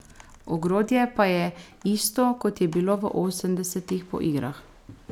Ogrodje pa je isto, kot je bilo v osemdesetih po igrah.